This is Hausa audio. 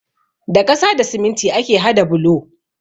Da ƙasa da siminti ake hada bulo.